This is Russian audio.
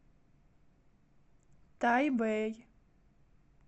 тайбэй